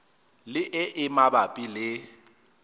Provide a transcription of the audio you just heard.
le e e mabapi le